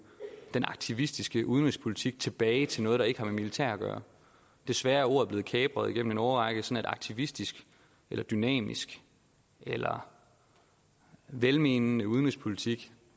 den aktivistiske udenrigspolitik tilbage til noget der ikke har med militær at gøre desværre er ordet blevet kapret igennem en årrække så aktivistisk eller dynamisk eller velmenende udenrigspolitik